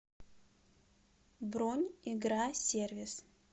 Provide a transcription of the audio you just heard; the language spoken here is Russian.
бронь игра сервис